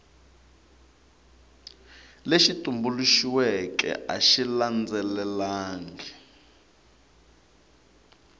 lexi tumbuluxiweke a xi landzelelangi